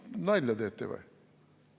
Nalja teete või?